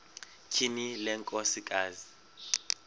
tyhini le nkosikazi